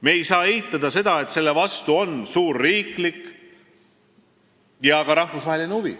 Me ei saa ka eitada, et selle vastu on suur riiklik ja rahvusvaheline huvi.